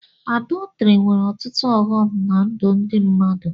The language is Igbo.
Àdọtrị nwere ọtụtụ ọghọm ná ndụ ndị mmadụ